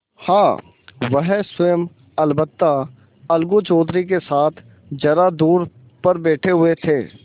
हाँ वह स्वयं अलबत्ता अलगू चौधरी के साथ जरा दूर पर बैठे हुए थे